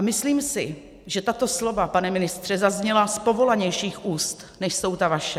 A myslím si, že tato slova, pane ministře, zazněla z povolanějších úst, než jsou ta vaše.